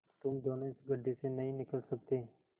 तुम दोनों इस गढ्ढे से नहीं निकल सकते